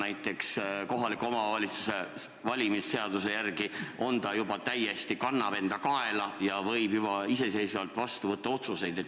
Aga kohaliku omavalitsuse volikogu valimise seaduse järgi on nii vana noor inimene juba täiesti kaelakandev ja võib iseseisvalt otsuseid vastu võtta.